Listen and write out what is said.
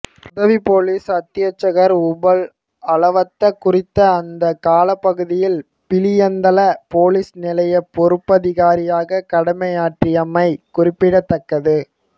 உதவிப்பொலிஸ் அத்தியட்சகர் உபுல் அலவத்த குறித்த அந்தக் காலப்பகுதியில் பிலியந்தல பொலிஸ் நிலைய பொறுப்பதிகாரியாக கடமையாற்றியமை குறிப்பிடத்தக்கது